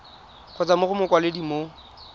kgotsa mo go mokwaledi mo